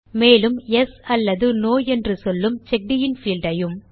மேலும் யெஸ் அல்லது நோ என்று சொல்லும் செக்கடின் பீல்ட் ஐயும்